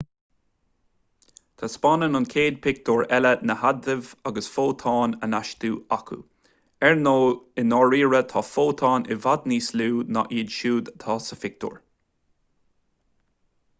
taispeánann an chéad phictiúr eile na hadaimh agus fótóin á n-astú acu ar ndóigh i ndáiríre tá fótóin i bhfad níos lú ná iad siúd atá sa phictiúr